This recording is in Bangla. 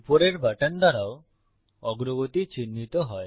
উপরের বাটন দ্বারাও অগ্রগতি চিহ্নিত হয়